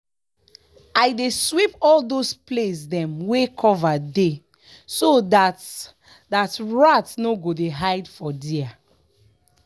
i dey sweep all those place dem wey cover dey so that that rat no go dey hide for there.